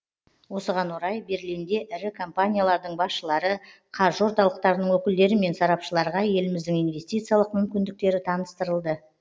осыған орай берлинде ірі компаниялардың басшылары қаржы орталықтарының өкілдері мен сарапшыларға еліміздің инвестициялық мүмкіндіктері таныстырылды